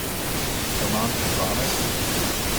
Roman pri dvanajstih?